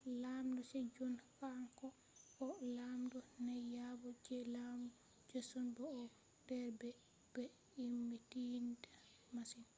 lamɗo sejong kan ko on lamdo naiyabo je laamu joseon bo o do der be-be himmidininta masin